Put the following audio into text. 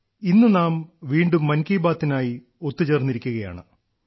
ഇന്ന് നാം വീണ്ടും മൻ കി ബാത്തിനായി ഒത്തുചേർന്നിരിക്കുകയാണ്